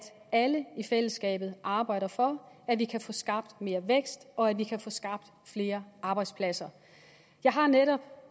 alle i fællesskabet arbejder for at vi kan få skabt mere vækst og at vi kan få skabt flere arbejdspladser jeg har netop